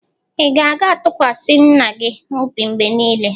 Ị ga-atụkwasị nna gị obi mgbe niile?